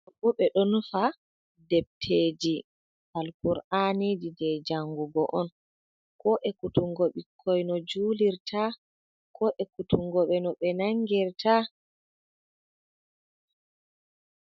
Ɗo bo ɓe ɗo nufa depteji Alƙur'aniji jei jangugo on, ko ekkutungo ɓikkoi no julirta, ko ekkutungo ɓe no ɓe nangirta.